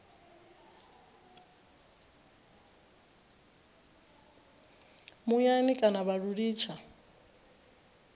muyani kana vha lu litsha